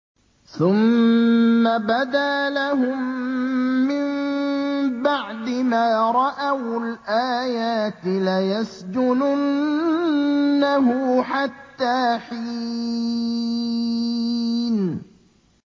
ثُمَّ بَدَا لَهُم مِّن بَعْدِ مَا رَأَوُا الْآيَاتِ لَيَسْجُنُنَّهُ حَتَّىٰ حِينٍ